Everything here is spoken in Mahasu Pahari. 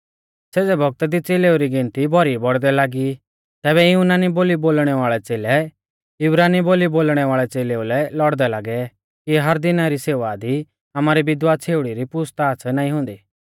सेज़ै बौगता दी च़ेलेऊ री गिनती भौरी बौड़दै लागी तैबै युनानी बोली बोलणै वाल़ै च़ेलै इब्रानी बोली बोलणै वाल़ै च़ेलेऊ लै लौड़दै लागै कि हर दिना री सेवा दी आमारी विधवा छ़ेउड़ीऊ री पूछ़ताछ़ नाईं हुंदी